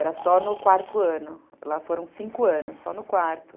Era só no quarto ano, lá foram cinco anos, só no quarto.